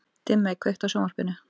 Dimmey, kveiktu á sjónvarpinu.